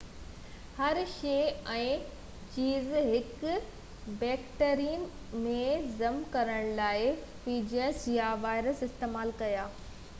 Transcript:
Hershey ۽ Chase هڪ bacterium ۾ ضم ڪرڻ لاءِ فيجز يا وائرس استعمال ڪيا